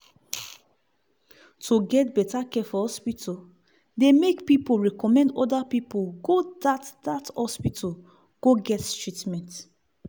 to get better care for hospital dey make pipu recommend other pipu go dat dat hospital go get treatment.